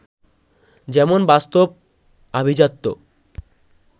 যেমন বাস্তব, আভিজাত্য